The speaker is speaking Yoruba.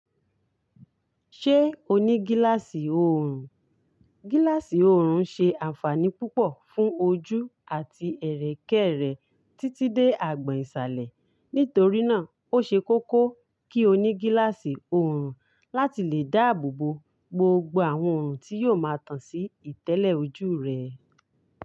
Ṣé o ní gílááṣì oòrùn? Gílááṣì oòrùn ṣe ànfàní púpọ̀ fún ojú àti ẹ̀rẹ̀kẹ́rẹ̀ títí dé agbọ̀n ìsàlẹ̀. Nítorí náà, o ṣe kókó kí o ní gílááṣì oòrùn láti lè dáàbòbò gbogbo àwọn orun tí yóò ma tàn sí ìtẹ́lẹ̀ ojú rẹ.